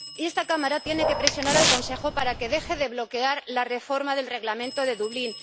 Esta Cámara tiene que presionar al Consejo para que deje de bloquear la reforma del Reglamento de Dublín.